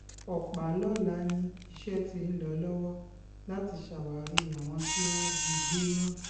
ọpàlọ́la ni iṣẹ́ tí ń lọ lọ́wọ́ láti ṣàwárí àwọn tí wọ́n jí gbé náà